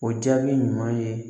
O jaabi ɲuman ye